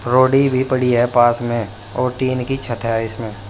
रोड़ी भी पडी है पास में और टीन की छत है इसमें।